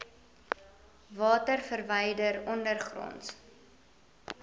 water verwyder ondergronds